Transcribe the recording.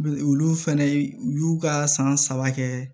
Olu fɛnɛ u y'u ka san saba kɛ